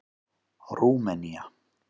Rúmenía